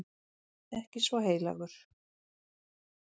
Ekki svo heilagur.